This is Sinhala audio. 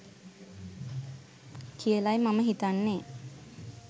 කියලයි මම හිතන්නේ